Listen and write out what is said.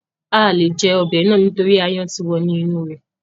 A à le jẹ ọbẹ̀ náà nítorí áyán ti wọ inú rẹ̀